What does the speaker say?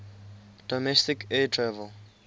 domestic air travel